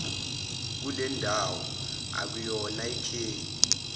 kulendawo okuyona lkheli